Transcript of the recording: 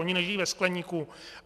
Oni nežijí ve skleníku.